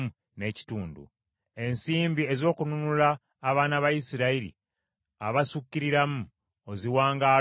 Ensimbi ez’okununula abaana ba Isirayiri abasukkiriramu oziwanga Alooni ne batabani be.”